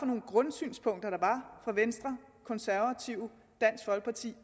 nogle grundsynspunkter der fra venstre konservative dansk folkeparti